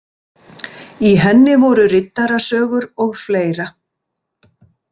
Í henni voru riddarasögur og fleira